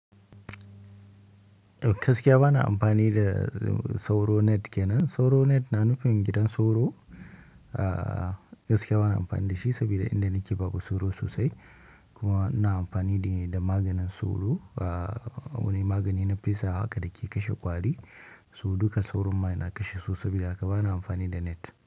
Gaskiya bana amfani da sauro net kenan. Sauron net na nufin gidan sauro ah gaskiya bana amfani da shi sabida inda nake babu sauro sosai kuma ina amfani ne da maganin sauro, ah wani magani na fesawa haka da ke kashe ƙwari so duka sauron ma yana kashe su saboda haka bana amfani da net.